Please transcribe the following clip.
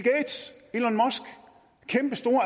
kæmpestor